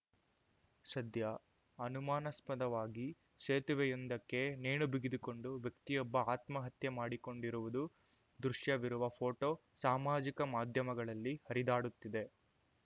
ಸದ್ಯ ಅನುಮಾನಾಸ್ಮದವಾಗಿ ಸೇತುವೆಯೊಂದಕ್ಕೆ ನೇಣು ಬಿಗಿದುಕೊಂಡು ವ್ಯಕ್ತಿಯೊಬ್ಬ ಆತ್ಮಹತ್ಯೆ ಮಾಡಿಕೊಂಡಿರುವುದು ದೃಶ್ಯವಿರುವ ಫೋಟೋ ಸಾಮಾಜಿಕ ಮಾಧ್ಯಮಗಳಲ್ಲಿ ಹರಿದಾಡುತ್ತಿದೆ